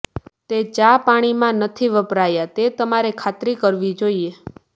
તે ચાપાણીમાં નથી વપરાયા તે તમારે ખાતરી કરવી જોઇએ